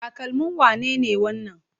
Takalmin wane ne wannan?